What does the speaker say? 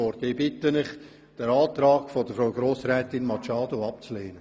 Ich bitte Sie, den Antrag von Grossrätin Machado abzulehnen.